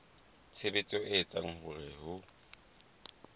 tshebetso e etsang hore ho